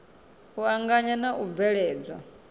u anganya na u bveledzwa